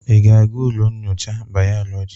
Ị ga-aga ụlọ nnyocha bayolọjị?